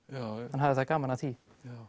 hann hafði það gaman af því